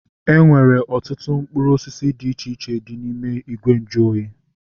Enwere ọtụtụ mkpụrụ osisi dị iche iche dị n'ime ìgwè nju oyi